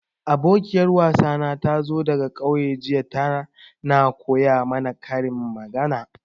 Abokiyar wasana tazo daga ƙauye jiya, ta na koya mana karin magana.